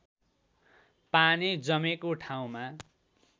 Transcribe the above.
पानी जमेको ठाउँमा